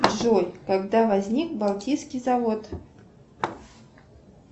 джой когда возник балтийский завод